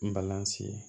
N balan si ye